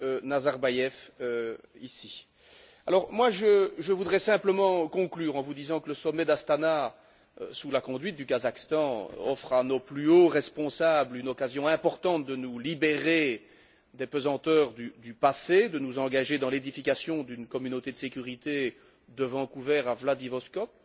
Nazarbaev ici. Je voudrais donc simplement conclure en vous disant que le sommet d'Astana, sous la conduite du Kazakhstan, offre à nos plus hauts responsables une occasion importante de nous libérer des pesanteurs du passé, de nous engager dans l'édification d'une communauté de sécurité de Vancouver à Vladivostok